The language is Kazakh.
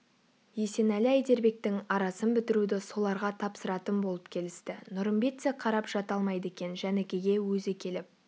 есенәлі-әйдербектің арасын бітіруді соларға тапсыратын болып келісті нұрымбет те қарап жата алмайды екен жәнікеге өзі келіп